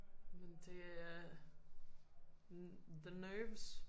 Men det er the nerves